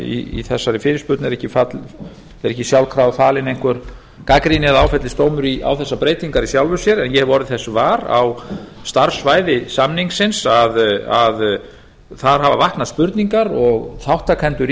að í þessari fyrirspurn er ekki sjálfkrafa falin einhver gagnrýni eða áfellisdómur á þessar breytingar í sjálfu sér en ég hef orðið þess var á starfssvæði samningsins að þar hafa vaknað spurningar og þátttakendur í